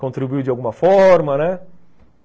contribuiu de alguma forma, né?